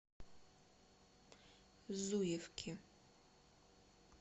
зуевки